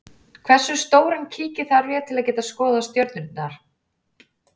Hversu stóran kíki þarf ég til að geta skoðað stjörnurnar?